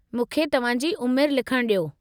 मूंखे तव्हां जी उमिरि लिखण ॾियो।